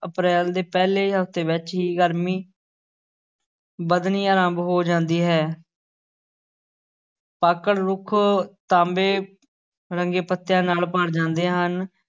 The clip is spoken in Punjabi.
ਅਪਰੈਲ ਦੇ ਪਹਿਲੇ ਹਫ਼ਤੇ ਵਿੱਚ ਹੀ ਗ਼ਰਮੀ ਵਧਣੀ ਆਰੰਭ ਹੋ ਜਾਂਦੀ ਹੈ ਪਾਕੜ ਰੁੱਖ ਤਾਂਬੇ ਰੰਗੇ ਪੱਤਿਆਂ ਨਾਲ ਭਰ ਜਾਂਦੇ ਹਨ।